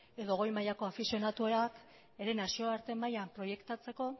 edo goi mailako afizionatuak ere nazioarte mailan proiektatzeko